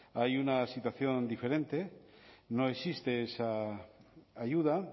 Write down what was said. hay una situación diferente no existe esa ayuda